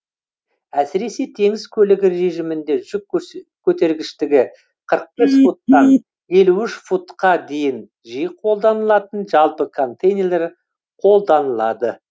әсіресе теңіз көлігі режимінде жүк көтергіштігі қырық бес футтан елу үш футқа дейін жиі қолданылатын жалпы контейнерлер қолданылады